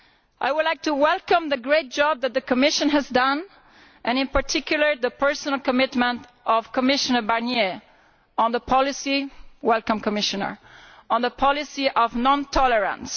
I welcome the great job that the Commission has done and in particular the personal commitment of Commissioner Barnier welcome, Commissioner to the policy of non tolerance.